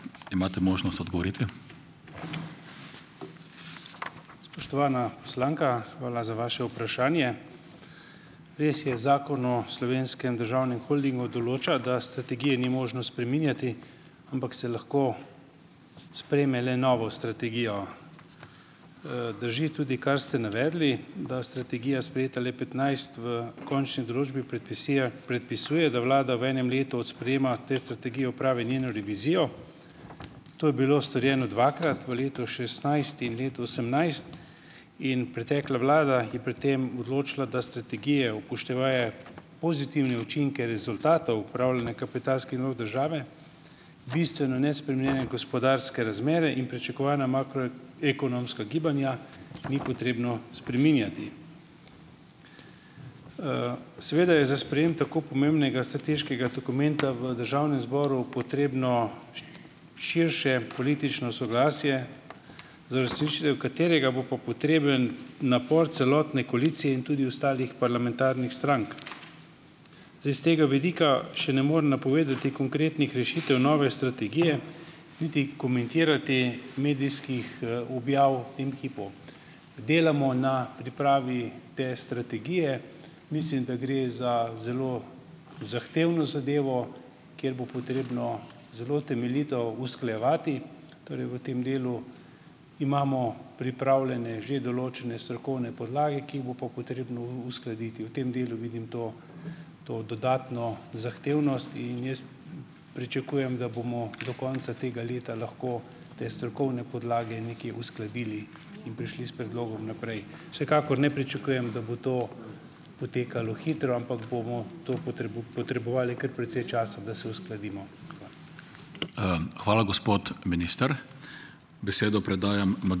Spoštovana poslanka, hvala za vaše vprašanje. Res je, Zakon o Slovenskem državnem holdingu določa, da strategije ni možno spreminjati, ampak se lahko sprejme le novo strategijo. Drži tudi, kar ste navedli, da je strategija sprejeta le petnajst, v končni določbi predpisuje, predpisuje, da vlada v enem letu od sprejema te strategije opravi njeno revizijo. To je bilo storjeno dvakrat, v letu šestnajst in letu osemnajst in pretekla vlada je pri tem odločila, da strategije, upoštevaje pozitivne učinke rezultatov upravljanja kapitalskih nalog države, bistveno nespremenjene gospodarske razmere in pričakovana ekonomska gibanja, ni potrebno spreminjati. Seveda je za sprejem tako pomembnega strateškega dokumenta v državnem zboru potrebno širše politično soglasje, za uresničitev katerega bo pa potreben napor celotne koalicije in tudi ostalih parlamentarnih strank. Zdaj, s tega vidika še ne morem napovedati konkretnih rešitev nove strategije, niti komentirati medijskih, objav v tem hipu. Delamo na pripravi te strategije. Mislim, da gre za zelo zahtevno zadevo, kjer bo potrebno zelo temeljito usklajevati, torej v tem delu. Imamo pripravljene že določene strokovne podlage, ki jih bo pa potrebno uskladiti. V tem delu vidim to to dodatno zahtevnost in jaz pričakujem, da bomo do konca tega leta lahko te strokovne podlage nekje uskladili in prišli s predlogom naprej. Vsekakor ne pričakujem, da bo to potekalo hitro, ampak bomo to potrebovali kar precej časa, da se uskladimo. Hvala.